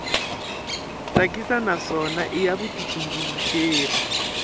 tsakisa naswona i ya vutitumbuluxeri